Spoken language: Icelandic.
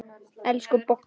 Elsku Borga!